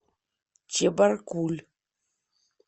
чебаркуль